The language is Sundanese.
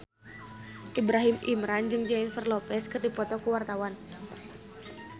Ibrahim Imran jeung Jennifer Lopez keur dipoto ku wartawan